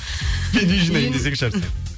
мен үй жинаймын десеңізші әрсен